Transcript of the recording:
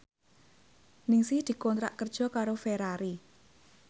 Ningsih dikontrak kerja karo Ferrari